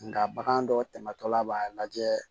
Nka bagan dɔ tɛmɛtɔla b'a lajɛ